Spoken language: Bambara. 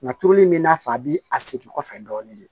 Nka turuli in bi n'a fɔ a bi a segin kɔfɛ dɔɔnin de